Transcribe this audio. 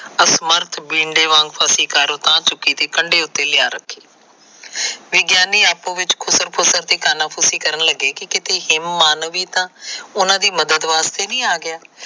ਅਫਮਰਦ ਬਿੰਦੇ ਵਾਂਗ ਫਸੀ ਕਾਰ ਉਤਾਹ ਚੁੱਕੀ ਤੇ ਖੰਡੇ ਉਤੇ ਲਿਆਂ ਛੱਡੀ। ਵਿਗਿਆਨੀ ਆਪਸ ਵਿਚ ਖੁਸਰ ਫੁਙਰ ਜਿਹੀ ਕਾਨਾ ਫੁਸੀ ਕਰਨ ਲੱਗੇ ਕਿ ਕਿਤੇ ਹੇਮ ਮਾਨਵ ਨੀ ਤਾ ਉਹਨਾ ਦੀ ਮਦਦ ਵਾਸਤੇ ਆਗਿਆਂ।